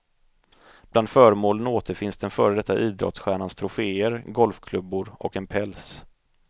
Bland föremålen återfinns den före detta idrottsstjärnans troféer, golfklubbor och en päls.